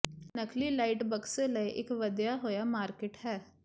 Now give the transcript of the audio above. ਨਕਲੀ ਲਾਈਟ ਬਕਸੇ ਲਈ ਇਕ ਵਧਿਆ ਹੋਇਆ ਮਾਰਕੀਟ ਹੈ